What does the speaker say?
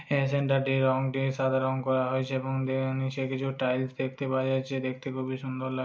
এই সিন টাতে রং দিয়ে সাদা রং করা হয়েছে এবং দে নিচে কিছু টাইলস দেখতে পাওয়া যাচ্ছে দেখতে খুবই সুন্দর লা --